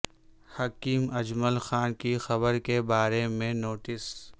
حکیم اجمل خان کی قبر کے بارے میں نوٹس